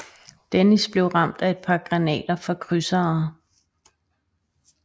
Dennis blev ramt af et par granater fra krydsere